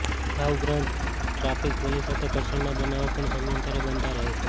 આ ઉપરાંત traffic police સાથે ઘર્ષણના બનાવો પણ સમયાંતરે બનતા રહે છે